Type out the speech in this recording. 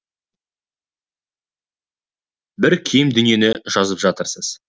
бір кем дүниені жазып жатырсыз